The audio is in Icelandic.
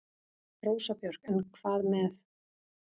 Rósa Björk: En hvað með.